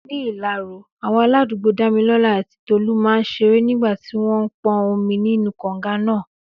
Ní Ilaro, àwọn aládùúgbò Dámilọ́lá àti Tolú máa ń ṣeré nígbà tí wọ́n ń pọn omi nínú kànga náà.